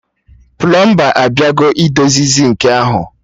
Plọmba abịago idozi sịnkị ahụ